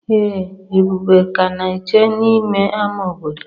Ee Ebube ka na-eche n'ime ámá obodo.